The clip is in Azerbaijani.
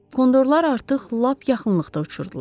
Kondorlar artıq lap yaxınlıqda uçurdular.